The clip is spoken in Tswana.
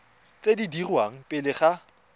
tse di dirwang pele ga